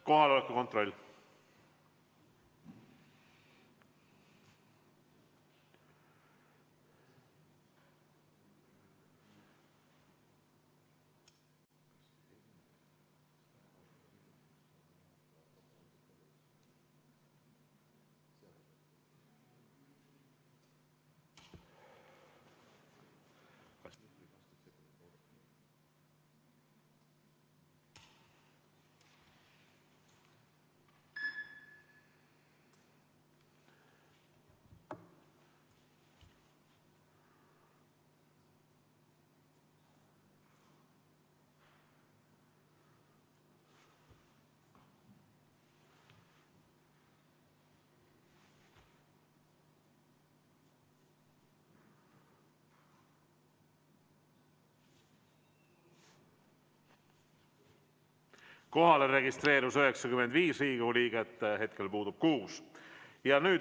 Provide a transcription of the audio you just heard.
Kohalolijaks registreerus 95 Riigikogu liiget, puudub 6.